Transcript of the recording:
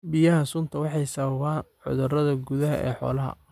Biyaha suntu waxay sababaan cudurada gudaha ee xoolaha.